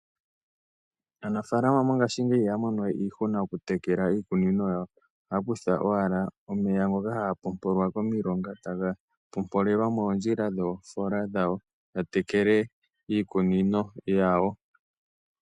Aanafaalama ngashingeyi ohaya mono we iihuna oku tekela iikunino yawo. Ohaya kutha owala omeya ngoka haga pompolwa komilonga taga pompolelwa moondjila dhoofoola dhawo ya tekele iikunino yawo.